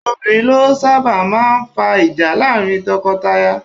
Obìnrin ló sábà máa ń fa ìjà láàrin tọkọtaya